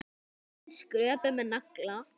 Hurðin skröpuð með nagla.